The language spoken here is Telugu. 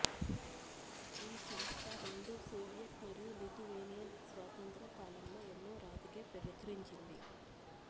ఈ సంస్థ రెండు సోవియట్ మరియు లిథువేనియన్ స్వాతంత్ర్యం కాలంలో ఎన్నో రాజకీయ ప్రచురించింది